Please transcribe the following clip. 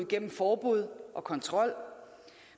gennem forbud og kontrol